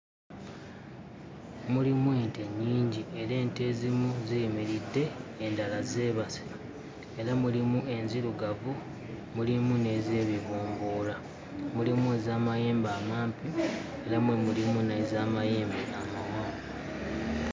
Mulimu ente nnyingi era ente ezimu ziyimiridde, endala zeebase. Era mulimu ente enzirugavu, mulimu n'ez'ebibomboola, mulimu ez'amayembe amampi era mulimu n'ez'amayembe amawanvu.